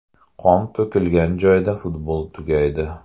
Qon to‘kilgan joyda futbol tugaydi.